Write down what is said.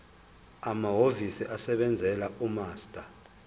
amahhovisi asebenzela umaster